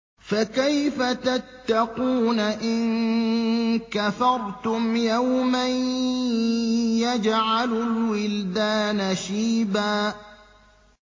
فَكَيْفَ تَتَّقُونَ إِن كَفَرْتُمْ يَوْمًا يَجْعَلُ الْوِلْدَانَ شِيبًا